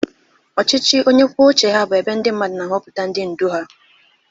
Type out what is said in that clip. Ọchịchị onye kwuo uche ya bụ ebe ndị mmadụ na-ahọpụta ndị ndu ha.